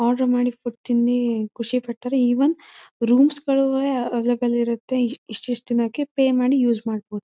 Order ಮಾಡಿ food ತಿಂದಿ ಖುಷಿಪಡ್ತಾರೆ ಈವನ್ ರೂಮ್ಸ್ ಗಳುವೆ ಅವೈಲಬಲ್ ಇರುತ್ತೆ ಇಷ್ಟಿಷ್ಟು ತಿನ್ನೋಕೆ ಪೆ ಮಾಡಿ ಯೌಜ್ ಮಾಡಬಹುದು.